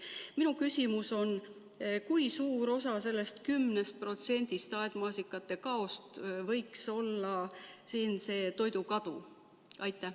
Minu küsimus on: kui suur osa sellest 10%-st aedmaasikate saagi kaost võiks olla see toidukadu?